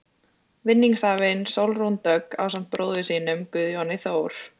Vinningshafinn, Sólrún Dögg, ásamt bróður sínum, Guðjóni Þór.